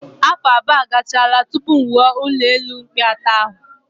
Afọ abụọ agachaala tupu m wuo ụlọelu mkpị atọ ahụ